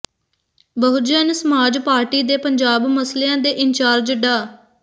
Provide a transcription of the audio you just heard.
Bahujan Samaj Party ਦੇ ਪੰਜਾਬ ਮਸਲਿਆਂ ਦੇ ਇੰਚਾਰਜ ਡਾ